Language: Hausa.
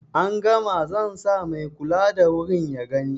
an gama zansa mai kula da wurin ya gani